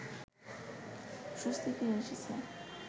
স্বস্তি ফিরে এসেছে